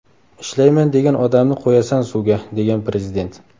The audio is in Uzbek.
Ishlayman degan odamni qo‘yasan suvga”, degan Prezident.